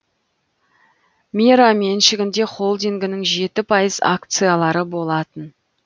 мера меншігінде холдингінің жеті пайыз акциялары болатын